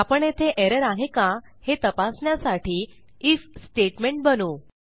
आपण येथे एरर आहे का हे तपासण्यासाठी आयएफ स्टेटमेंट बनवू